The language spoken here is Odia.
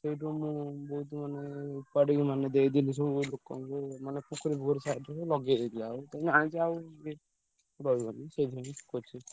ସେଇଠୁ ମୁଁ ବହୁତ ମାନେ ଓପାଡିକି ମାନେ ଦେଇଦେଲି ସବୁ ଲୋକଙ୍କୁ ମାନେ ପୋଖରୀ ଫୋଖରୀ side ରେ ସବୁ ଲଗେଇଦେଇଥିଲା ତମେ ଜାଣିଛ ଆଉ ରହିବନି ସେଇଥିପାଇଁ ।